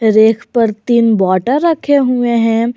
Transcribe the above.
रेख पर तीन बाटल रखे हुए हैं।